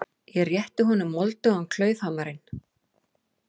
Ég rétti honum moldugan klaufhamarinn.